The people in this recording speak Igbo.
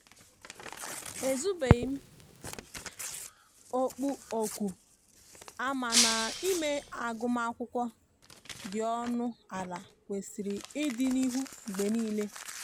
e zubeghi okpu oku amana ime agụma akwụkwo di ọnụ ala kwesiri ịdi n'ihu mgbe nile.